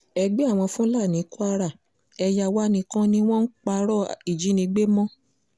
ẹgbẹ́ àwọn fúlàní kwara ẹ̀yà wa nìkan ni wọ́n ń parọ́ ìjínigbé mọ́ o